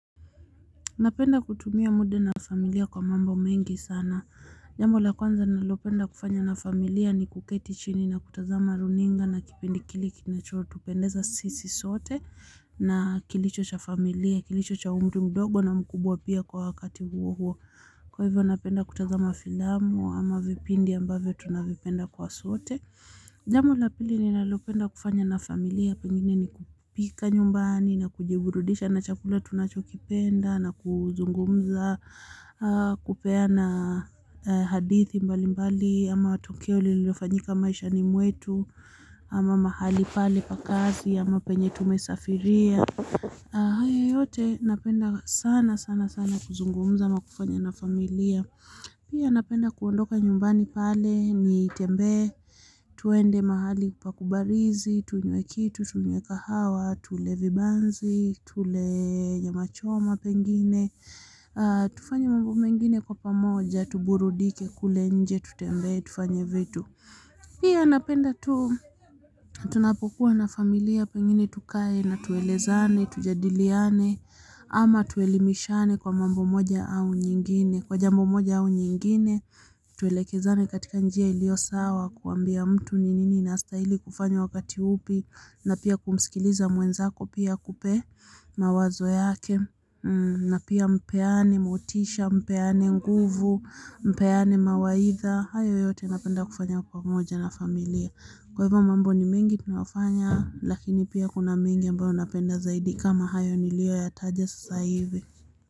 Napenda kutumia muda na familia kwa mambo mengi sana. Jambo la kwanza nalopenda kufanya na familia ni kuketi chini na kutazama runinga na kipindi kile kinachotupendeza sisi sote na kilicho cha familia, kilicho cha mtu mdogo na mkubwa pia kwa wakati huo huo. Kwa hivyo napenda kutazama filamu ama vipindi ambavyo tunavipenda kwa sote. Jambo la pili ninalopenda kufanya na familia pengine ni kupika nyumbani na kujiburudisha na chakula tunachokipenda na kuzungumza kupeana hadithi mbali mbali ama tukio lililofanyika maishani mwetu ama mahali pale pa kazi ama penye tumesafiria. Haya yote napenda sana sana sana kuzungumza ama kufanya na familia. Pia napenda kuondoka nyumbani pale nitembee tuende mahali pa kubarizi tunywe kitu tunywe kahawa tule vibanzi tule nyama choma pengine tufanye mambo mengine kwa pamoja tuburudike kule nje tutembee tufanye vitu pia napenda tu, tunapokuwa na familia pengine tukae na tuelezane, tujadiliane ama tuelimishane kwa mambo moja au nyingine, kwa jambo moja au nyingine tuelekezane katika njia iliyo sawa kuambia mtu ni nini inastahili kufanywa wakati upi na pia kumsikiliza mwenzako pia akupe mawazo yake na pia mpeane motisha, mpeane nguvu, mpeane mawaidha. Hayo yote napenda kufanya pamoja na familia. Kwa hivyo mambo ni mengi tunayofanya lakini pia kuna mingi ambayo napenda zaidi kama hayo niliyoyataje sasa hivi.